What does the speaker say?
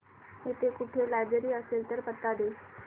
इकडे कुठे लायब्रेरी असेल तर पत्ता दे